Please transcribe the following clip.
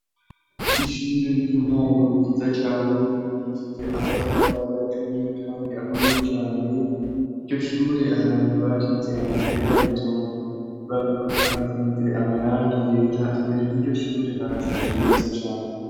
Ishure ry'intango ryiza cane ryubakishije amatavariaturiye, kandi akomeye cane iryo shure abantu bashitsey amafera bito barihasize amarangi yera imbere y'iryo shure haraserashe neza cane.